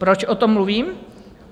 Proč o tom mluvím?